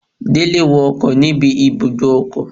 Dele wo ọkọ níbi ibùdó ọkọ̀